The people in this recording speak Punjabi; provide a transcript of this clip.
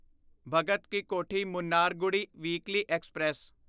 Bhagat Ki Kothi Mannargudi weekly express